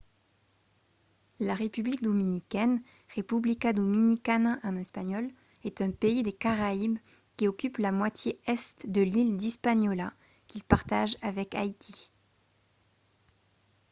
la république dominicaine república dominicana en espagnol est un pays des caraïbes qui occupe la moitié est de l'île d'hispaniola qu'il partage avec haïti